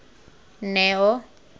neo